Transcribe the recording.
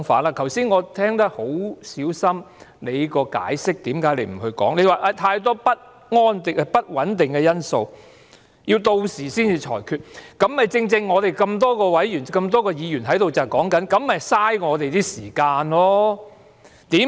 我剛才已小心聆聽你為何不作解釋，你說有太多不穩定因素，要到時才作裁決，這正正是我們多位議員在此說這樣做是浪費議會的時間。